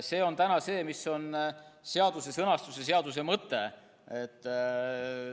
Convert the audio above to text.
Selline on praegu seaduse sõnastus ja seaduse mõte.